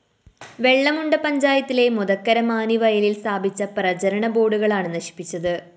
വെളളമുണ്ട പഞ്ചായത്തിലെ മൊതക്കര മാനിവയലില്‍ സ്ഥാപിച്ച പ്രചരണബോര്‍ഡുകളാണ് നശിപ്പിച്ചത്